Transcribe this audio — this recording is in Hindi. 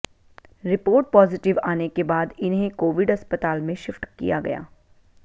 रिपोर्ट पॉजिटिव आने के बाद इन्हें कोविड अस्पताल में शिफ्ट किया गया